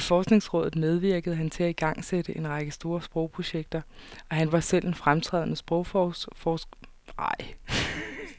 I forskningsrådet medvirkede han til at igangsætte en række store sprogprojekter, og han var selv en fremtrædende sprogforsker og leksikograf.